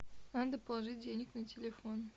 надо положить денег на телефон